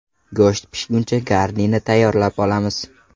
Go‘sht pishguncha garnirni tayyorlab olamiz.